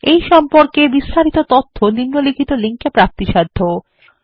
এই সম্পর্কে বিস্তারিত তথ্য নিম্নলিখিত লিঙ্ক এ প্রাপ্তিসাধ্য httpspoken tutorialorgNMEICT Intro